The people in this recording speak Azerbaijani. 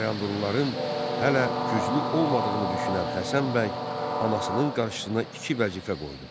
Bayandurluların hələ güclü olmadığını düşünən Həsən bəy anasının qarşısına iki vəzifə qoydu.